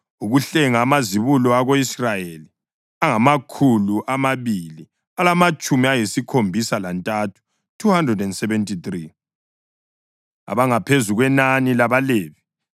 Ukuhlenga amazibulo ako-Israyeli angamakhulu amabili alamatshumi ayisikhombisa lantathu (273) abangaphezu kwenani labaLevi,